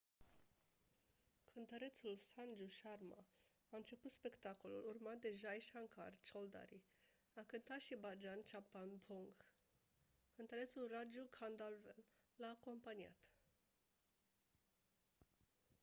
cântărețul sanju sharma a început spectacolul urmat de jai shankar choudhary a cântat și bhajan chhappan bhog cântărețul raju khandelwal l-a acompaniat